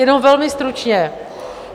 Jenom velmi stručně.